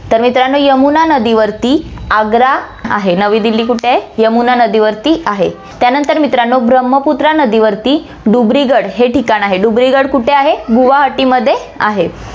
तर मित्रांनो, यमुना नदीवरती आग्रा आहे, नवी दिल्ली कुठे आहे यमुना नदीवरती आहे. त्यानंतर मित्रांनो ब्रम्हपुत्रा नदीवरती डुबरीगड हे ठिकाण आहे, डुबरीगड कुठे आहे, गुवाहाटीमध्ये आहे